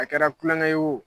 A kɛra kulonkɛ ye wo